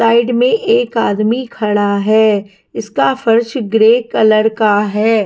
Side में एक आदमी खड़ा हैं इसका फर्श ग्रे कलर का है।